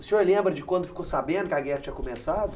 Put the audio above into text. O senhor lembra de quando ficou sabendo que a guerra tinha começado?